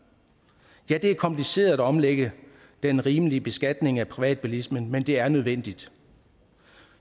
ja det er kompliceret at omlægge den rimelige beskatning af privatbilismen men det er nødvendigt